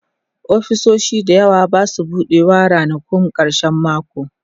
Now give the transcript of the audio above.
ofisoshi da yawa Basu buɗewa ranakun karshen mako